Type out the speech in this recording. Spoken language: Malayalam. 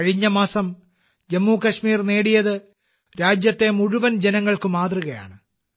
കഴിഞ്ഞ മാസം ജമ്മു കാശ്മീർ നേടിയത് രാജ്യത്തെ മുഴുവൻ ജനങ്ങൾക്ക് മാതൃകയാണ്